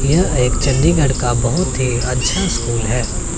यह एक चंडीगढ़ का बहोत ही अच्छा स्कूल है।